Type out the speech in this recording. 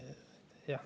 Jah.